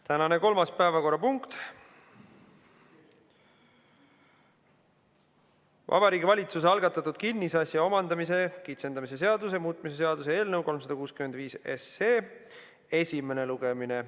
Tänane kolmas päevakorrapunkt on Vabariigi Valitsuse algatatud kinnisasja omandamise kitsendamise seaduse muutmise seaduse eelnõu 365 esimene lugemine.